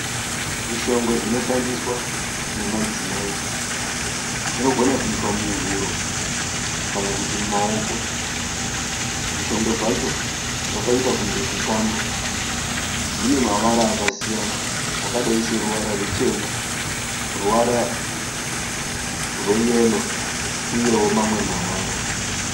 Zvishongo zvinoshandiswa nemadzimai. Zvinogona kuiswa muhuro kana kuti mumaoko. Zvishongo zvacho zvakaita kunge tutambo. Zvine mavara akasiyana. Akadai seruvara ruchena, ruvara rwe yero uyewo mamwe mavara .